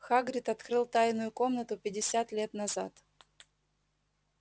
хагрид открыл тайную комнату пятьдесят лет назад